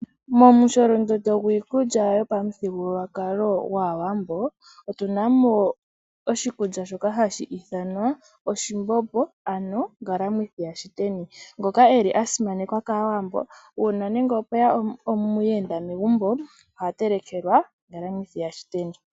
Momusholondondo gwiikulya lyopamuthigululwakalo gwAawambo, otuna mo oshikulya shoka hashi ithanwa oshimbombo, ano ngalamwithi yashiteni, ngoka eli a simanekwa kAawambo, una nande opweya omuhenda megumbo, oha telekelwa ngalamwithi yashiteni.